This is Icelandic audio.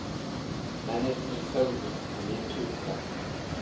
Mennirnir þögðu og litu undan.